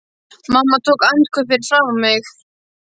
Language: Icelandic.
Mamma tók andköf fyrir framan mig.